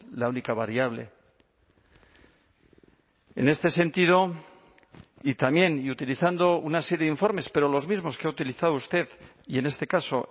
la única variable en este sentido y también y utilizando una serie de informes pero los mismos que ha utilizado usted y en este caso